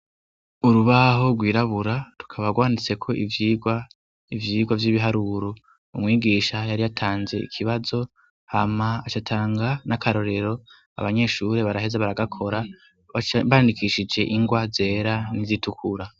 Urubaho rwirabura tukabarwanditse ko ivyirwa ivyirwa vy'ibiharuru umwigisha yari atanze ikibazo hama acatanga n'akarorero abanyeshuri baraheza baragakora bacbandikishije ingwa zera ntizitukura.